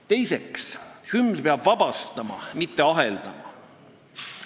Teiseks, hümn peab vabastama, mitte aheldama.